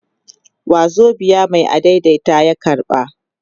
wazobiya Mai adaidaita ya karba